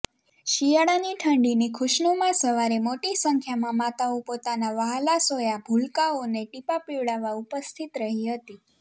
શિયાળાની ઠંડીની ખુશ્નુમા સવારે મોટી સંખ્યામાં માતાઓ પોતાના વ્હાલસોયાં ભૂલકાંઓને ટીપાં પિવડાવવા ઉપસ્થિત રહી હતી